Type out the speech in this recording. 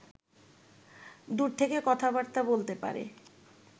দূর থেকে কথাবার্তা বলতে পারে